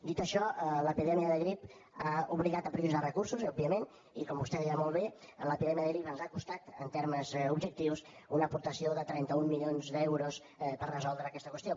dit això l’epidèmia de grip ha obligat a prioritzar recursos òbviament i com vostè deia molt bé l’epidèmia de grip ens ha costat en termes objectius una aportació de trenta un milions d’euros per resoldre aquesta qüestió